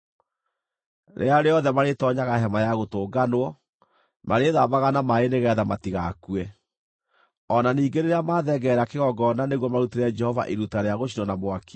Rĩrĩa rĩothe marĩtoonyaga Hema-ya-Gũtũnganwo, marĩĩthambaga na maaĩ nĩgeetha matigakue. O na ningĩ rĩrĩa mathengerera kĩgongona nĩguo marutĩre Jehova iruta rĩa gũcinwo na mwaki,